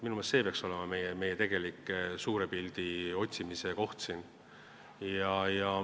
Minu meelest peaks see olema meie tegelik suure pildi otsimise koht.